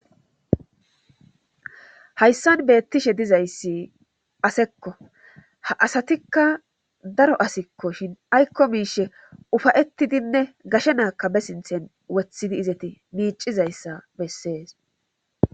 ayssan beettishe dizayssi asekko ha asatikka daro asikko shin aykko miishe ufayettidinne gashe naakka be sinthen wothidi izeti miicizayssa bessees.